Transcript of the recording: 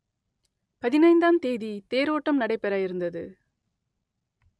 பதினைந்தாம் தேதி தேரோட்டம் நடைபெற இருந்தது